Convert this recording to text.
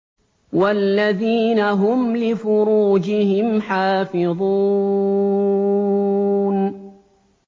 وَالَّذِينَ هُمْ لِفُرُوجِهِمْ حَافِظُونَ